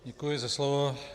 Děkuji za slovo.